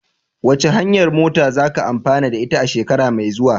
Wace hanyar noma zaka amfani da ita a shekara mai zuwa?